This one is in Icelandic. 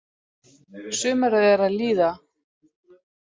Sumarið er að líða.